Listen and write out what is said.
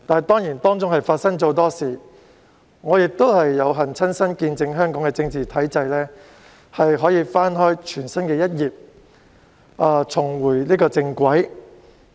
過程中發生了很多事情，而我亦有幸親身見證香港的政治體制可以翻開全新一頁，重回正軌。